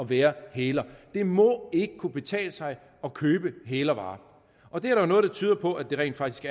være hæler det må ikke kunne betale sig at købe hælervarer og det er der jo noget der tyder på at det rent faktisk